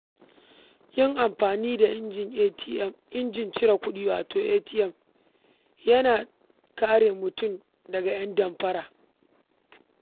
Yin taka-tsantsan yayin amfani da injin cire kuɗi, wato ATM, yana kare mutum daga 'yan damfara.